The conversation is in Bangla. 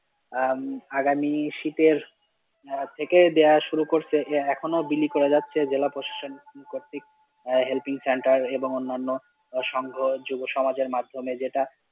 আহ আগামী শীতের থেকে দেয়া শুরু করেছে, এখনো বিলি করে যাচ্ছে জেলাপ্রশাসন কর্তৃক আঃ helping center এবং অনান্য সংঘ যুব সমাজের মাধ্যমে যেটা।